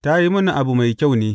Ta yi mini abu mai kyau ne.